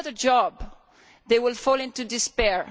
Without a job, they will fall into despair.